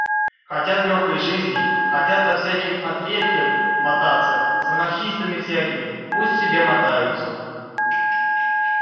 хотят лёгкой жизни хотят со всяким отребьем мотаться с анархистами всякими пусть себе мотаются